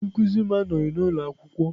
Onye nkuzi m anọghị n'ụlọ akwụkwọ.